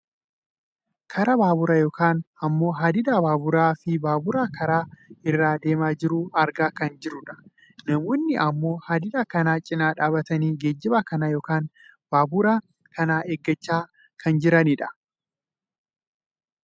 karaa baaburaa yookaan ammoo hadida baaburaa fi babura karaa kana irra deemaa jiru argaa kan jirrudha. namoonni ammoo hadida kan cina dhaabbatanii geejjiba kana yookaan baabura kana eeggachaa kan jiranidha.